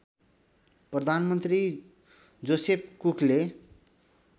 प्रधानमन्त्री जोसेफ कुकले